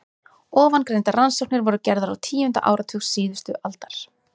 Ofangreindar rannsóknir voru gerðar á tíunda áratug síðustu aldar.